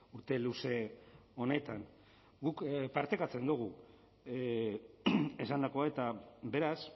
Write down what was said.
urte luze honetan guk partekatzen dugu esandakoa eta beraz